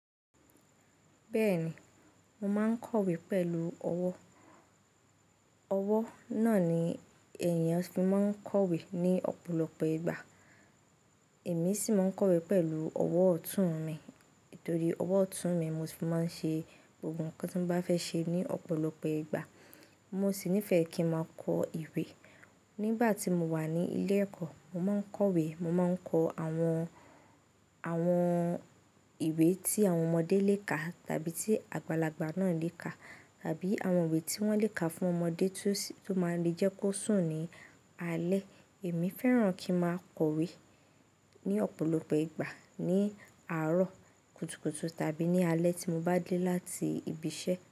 Bẹ́ẹ̀ ni, mo máa ń kọ̀wé pẹ̀lú ọwọ́. Ọwọ́ náà ni èèyàn fi máa ń kọ̀wé ní ọ̀pọ̀lọpọ̀ ìgbà. Èmi sì máa ń kọ̀wé pẹ̀lú ọwọ́ ọ̀tún mi, torí ọwọ́ ọ̀tún mi mo ti máa ń ṣe gbogbo nǹkan tí mo bá fẹ́ ṣe ní ọ̀pọ̀lọpọ̀ ìgbà. Mo sì nífẹ̀ẹ́ kí ń máa kọ ìwé. Nígbà tí mo wà ní ilé ẹ̀kọ́, mo máa ń kọ̀wé. Mo máa ń kọ àwọn, àwọn ìwé tí àwọn ọmọdé lè ka tàbí tí àgbàlagbà náà lè ka, tàbí àwọn ìwé tí wọ́n lè ka fún ọmọdé tó máa ń jẹ́ kó sùn ní alẹ́. Èmi fẹ́ràn kí ń máa kọ̀wé ní ọ̀pọ̀lọpọ̀ ìgbà ní àárọ̀ kùtùkùtù tàbí ní alẹ́ tí mo bá dé láti ibi iṣẹ́